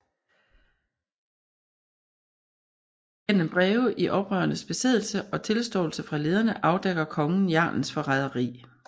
Gennem breve i oprørernes besiddelse og tilståelser fra lederne afdækkede kongen jarlens forræderi